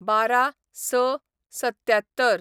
१२/०६/७७